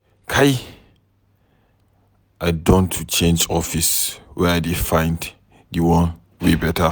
Kai, I don to change office were I dey find di one wey beta.